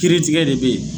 Kiiri tigɛ de be yen